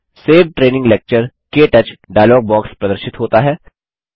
save training lecture - क्टच dialog box प्रदर्शित होता है